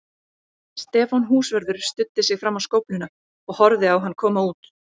Stefán húsvörður studdi sig fram á skófluna og horfði á hann koma út.